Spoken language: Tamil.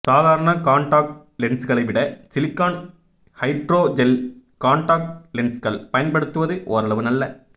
சாதாரண கான்டாக்ட் லென்ஸ்களைவிட சிலிக்கான் ஹைட்ரோஜெல் கான்டாக்ட் லென்ஸ்கள் பயன்படுத்துவது ஓரளவு நல்ல